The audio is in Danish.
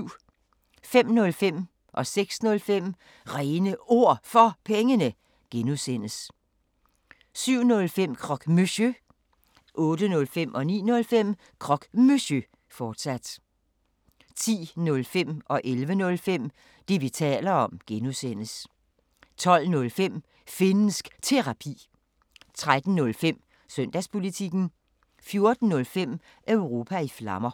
05:05: Réne Ord For Pengene (G) 06:05: Réne Ord For Pengene (G) 07:05: Croque Monsieur 08:05: Croque Monsieur, fortsat 09:05: Croque Monsieur, fortsat 10:05: Det, vi taler om (G) 11:05: Det, vi taler om (G) 12:05: Finnsk Terapi 13:05: Søndagspolitikken 14:05: Europa i Flammer